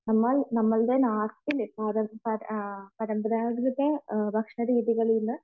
നമ്മൾ നമ്മളുടെ പരമ്പരാഗത ഭക്ഷണ രീതികളിൽ നിന്നും